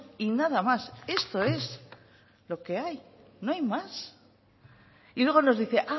y nada más esto es lo que hay no hay más y luego nos dice